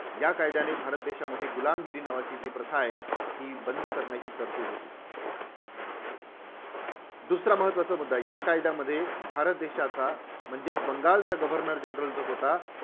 या कायद्याने भारत देशामध्ये गुलामगिरी नावाची जी प्रथा आहे, ती बंद करण्याची तरतुद होती. दुसरा महत्त्वाचा मुद्दा या कायद्यामध्ये भारत देशाचा म्हणजेच बंगालचा governor general जो होता